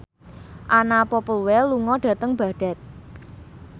Anna Popplewell lunga dhateng Baghdad